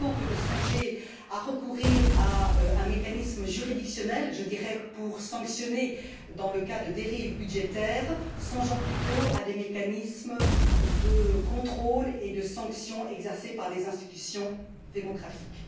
Plutôt que de songer à recourir à un mécanisme juridictionnel, pour, disons, sanctionner dans le cas de dérives budgétaires, songeons plutôt à des mécanismes de contrôle et de sanctions exercés par les institutions démocratiques.